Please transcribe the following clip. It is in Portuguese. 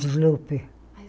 Sloper.